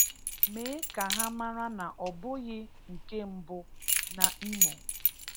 Mee ka ha mara na ọ bụghị nke mbụ na Imo.